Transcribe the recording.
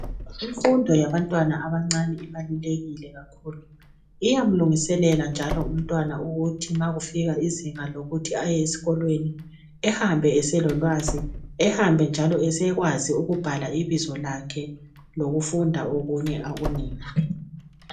Imfundo yabantwana abancane ibalulekile kakhulu iyamlungiselela njalo umntwana ukuthi makufika izinga lokuthi aye esikolweni ahambe eselolwazi ehambe njalo esekwazi ukubhala ibizo lakhe lokufunda okunye okunengi.